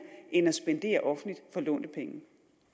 end at spendere offentligt for lånte penge